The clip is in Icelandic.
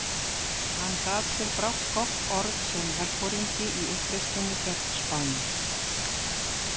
Hann gat sér brátt gott orð sem herforingi í uppreisninni gegn Spáni.